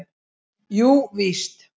Jú víst!